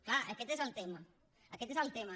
clar aquest és el tema aquest és el tema